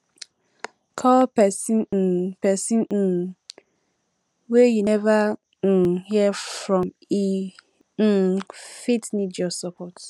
call pesin um pesin um wey you neva um hear from e um fit need your support